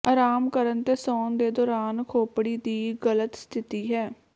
ਆਰਾਮ ਕਰਨ ਤੇ ਸੌਣ ਦੇ ਦੌਰਾਨ ਖੋਪੜੀ ਦੀ ਗਲਤ ਸਥਿਤੀ ਹੈ